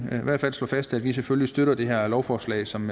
vil i hvert fald slå fast at vi selvfølgelig støtter det her lovforslag som